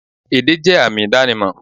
Èdè jẹ́ àmì ìdánimọ̀